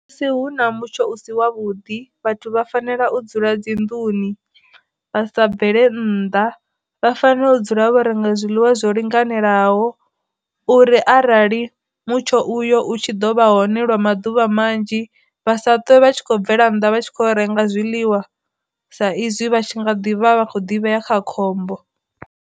Musi hu na mutsho u si wa vhuḓi vhathu vha fanela u dzula dzi nnḓuni, vha sa bvele nnḓa, vha fanela u dzula vha renga zwiḽiwa zwo linganelaho, uri rali mutsho uyo u tshi ḓovha hone lwa maḓuvha manzhi vha sa ṱwe vha tshi khou bvela nnḓa vha tshi kho renga zwiḽiwa sa izwi vha tshi nga ḓivha vha kho ḓivhea kha khombo.